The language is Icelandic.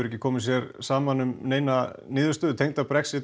ekki komið sér saman um neina niðurstöðu í Brexit